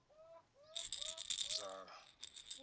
dzaṱa